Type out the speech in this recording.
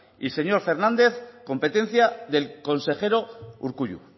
y señor fernández competencia del consejero urkullu